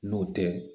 N'o tɛ